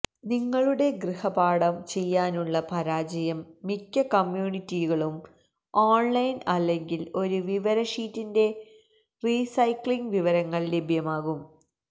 നിങ്ങളുടെ ഗൃഹപാഠം ചെയ്യാനുള്ള പരാജയം മിക്ക കമ്മ്യൂണിറ്റികളും ഓൺലൈൻ അല്ലെങ്കിൽ ഒരു വിവര ഷീറ്റിന്റെ റീസൈക്ലിംഗ് വിവരങ്ങൾ ലഭ്യമാകും